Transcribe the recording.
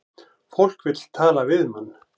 Fólk vill tala við mann